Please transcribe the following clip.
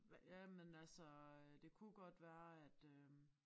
Jamen altså øh det kunne godt være at øh